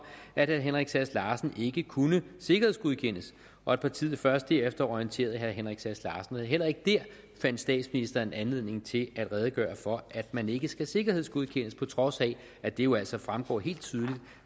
at herre henrik sass larsen ikke kunne sikkerhedsgodkendes og at partiet først derefter orienterede herre henrik sass larsen heller ikke der fandt statsministeren anledning til at redegøre for at man ikke skal sikkerhedsgodkendes på trods af at det jo altså fremgår helt tydeligt